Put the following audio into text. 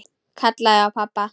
Kallaði á pabba.